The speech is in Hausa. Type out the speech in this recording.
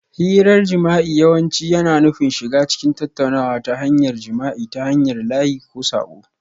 Hirar jima'i yawanci yana nufin shiga cikin tattaunawa ta hanyar jima'i ta hanyar layi ko saƙo